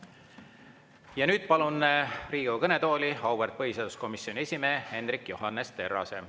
Ja nüüd palun Riigikogu kõnetooli auväärt põhiseaduskomisjoni esimehe Hendrik Johannes Terrase.